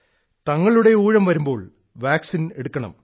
തങ്ങളുടെ ഊഴം വരുമ്പോൾ വാക്സിൻ എടുക്കണം